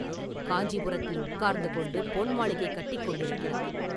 காஞ்சிபுரத்தில் உட்கார்ந்து கொண்டு பொன் மாளிகை கட்டிக் கொண்டிருக்கிறார்.